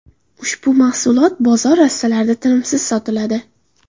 Ushbu mahsulot bozor rastalarida tinimsiz sotiladi.